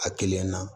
A kelen na